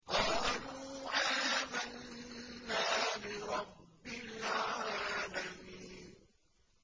قَالُوا آمَنَّا بِرَبِّ الْعَالَمِينَ